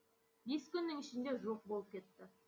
күннің ішінде жоқ болып кетті